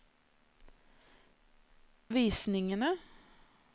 visningene